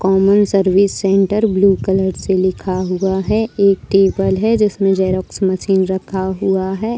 Common service centre blue colour के लिखा हुआ है एक टेबल है जिसमें जेरॉक्स मशीन रखा हुआ है।